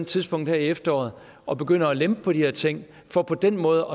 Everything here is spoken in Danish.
tidspunkt her i efteråret og begynder at lempe på de her ting for på den måde